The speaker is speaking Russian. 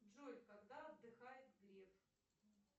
джой когда отдыхает греф